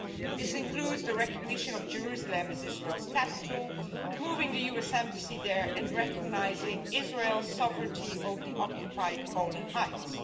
This includes the recognition of Jerusalem as Israel's capital, moving the US Embassy there and recognising Israel's sovereignty over the occupied Golan Heights.